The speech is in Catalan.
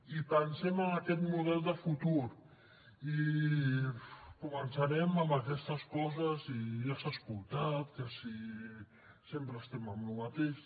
i pensem en aquest model de futur i començarem amb aquestes coses i ja s’ha escoltat que si sempre estem amb el mateix